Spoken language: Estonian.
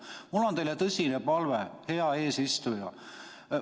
Mul on teile tõsine palve, hea eesistuja.